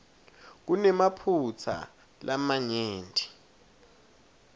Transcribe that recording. kunemaphutsa lamanyenti